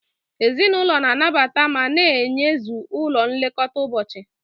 Ezinụlọ na-anabata ma na-eyuzu ụlọ nlekọta ụbọchị.